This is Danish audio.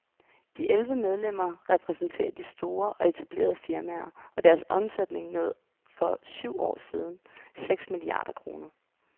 De elleve medlemmer repræsenterer de store og etablerede firmaer, og deres omsætning nåede for syv år siden seks milliarder kroner.